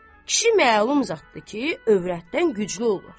Kişi məlum zatdır ki, övrətdən güclü olur.